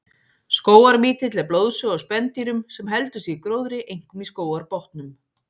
Skógarmítill er blóðsuga á spendýrum sem heldur sig í gróðri, einkum í skógarbotnum.